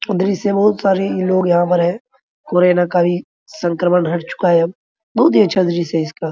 दृश्य में बहुत सारी लोग यहाँ पर हैं संक्रमण हट चूका है अब इसका बहुत अच्छा दृश्य है।